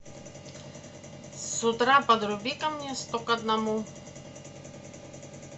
с утра подруби ка мне сто к одному